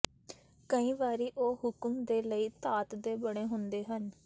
ਕਈ ਵਾਰੀ ਉਹ ਹੁਕਮ ਦੇ ਲਈ ਧਾਤ ਦੇ ਬਣੇ ਹੁੰਦੇ ਹਨ